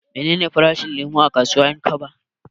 Menene farashin lemo a kasuwar 'Yankaba?